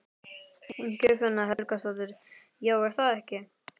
Guðfinna Helgadóttir: Já, er það ekki?